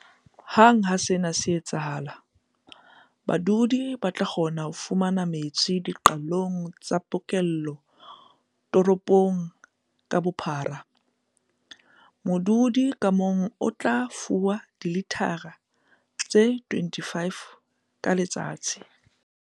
Hang ha sena se etsahala, badudi ba tla kgona ho fumana metsi diqalong tsa pokello toropong ka bophara. Modudi ka mong o tla fuwa dilithara tse 25 ka letsatsi.